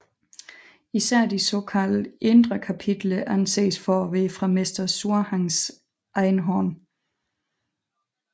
Især de såkaldte Indre kapitler anses for at være fra Mester Zhuangs egen hånd